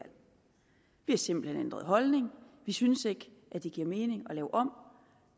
har simpelt hen ændret holdning vi synes ikke at det giver mening at lave om